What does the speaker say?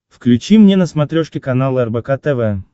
включи мне на смотрешке канал рбк тв